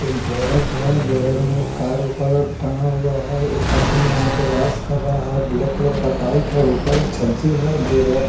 एक गैरेज है गैरेज में एक कार ऊपर टंगा हुआ है एक आदमी वहाँ पे वाश कर रहा है ब्लैक कलर का पाइप है ऊपर छज्जी है जो--